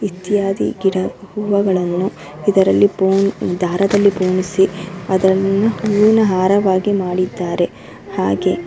ಇತ್ಯಾದಿ ಗಿಡ ಹೂವಗಳನ್ನು ಇದರಲ್ಲಿ ಪೂ ದಾರದಲ್ಲಿ ಪೋಣಿಸಿ ಅದರಲ್ಲಿ ಹೂವಿನ ಹಾರವಾಗಿ ಮಾಡಿದ್ದಾರೆ ಹಾಗೆ --